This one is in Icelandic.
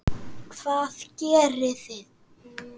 Hvað gerið þið?